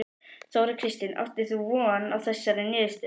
Þóra Kristín: Áttir þú von á þessari niðurstöðu?